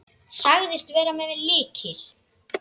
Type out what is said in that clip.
Sagðist vera með lykil.